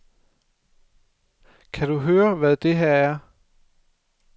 Kan du høre, hvad det her er?